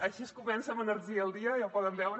així es comença amb energia el dia ja ho poden veure